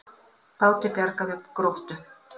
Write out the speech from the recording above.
Báti bjargað við Gróttu